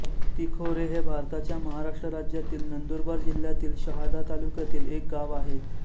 तिखोरे हे भारताच्या महाराष्ट्र राज्यातील नंदुरबार जिल्ह्यातील शहादा तालुक्यातील एक गाव आहे